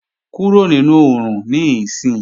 Kúrò nínú oòrùn níìsín!